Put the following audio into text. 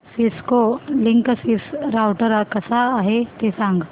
Cisco Linksys router कसा आहे ते सांग